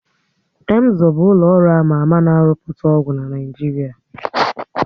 Emzor bụ ụlọ ọrụ ama ama na rụpụta ọgwụ na Naịjiria